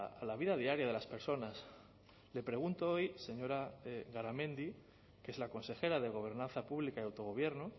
a la vida diaria de las personas le pregunto hoy señora garamendi que es la consejera de gobernanza pública y autogobierno